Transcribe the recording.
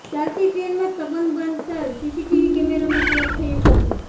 ચાલતી ટ્રેનમાં સંબંઘ બાંધતા સીસીટીવી કેમેરામાં કેદ થયું કપલ